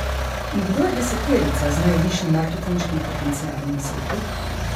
In kdo je deseterica z najvišjim marketinškim potencialom na svetu?